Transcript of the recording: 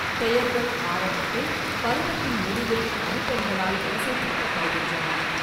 பெயர்கள் ஆரம்பத்தில் பருவத்தின் முடிவில் மதிப்பெண்களால் வரிசைப்படுத்தப்படுகின்றன.